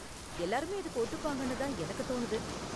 எல்லாருமே இதுக்கு ஒத்துப்பாங்கன்னு தான் எனக்கு தோணுது.